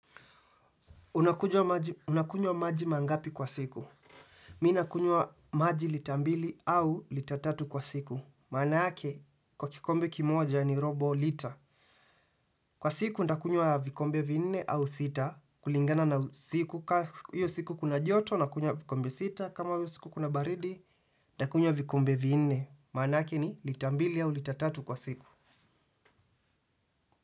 Unakunywa maji mangapi kwa siku. Mimi nakunywa maji lita mbili au lita tatu kwa siku. Maana yake, kwa kikombe kimoja ni robo lita. Kwa siku, nitakunywa vikombe viinne au sita. Kulingana na siku, ka hiyo siku kuna joto, nakunywa vikombe sita, kama hiyo siku kuna baridi, nitakunywa vikombe viinne. Maana ake ni litambili au litatatu kwa siku.